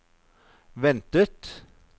ventet